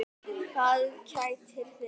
Hvað kætir þig?